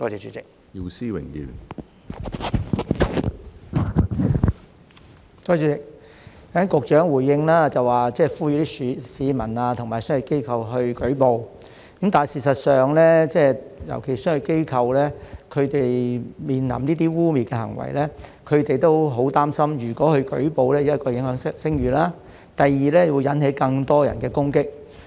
主席，局長剛才回應，呼籲市民和商業機構去舉報，但事實上，尤其是商業機構，他們面臨這些污衊行為時也很擔心，如果去舉報，第一會影響聲譽，第二會引起更多人的攻擊。